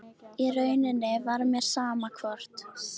Í rauninni var mér sama hvort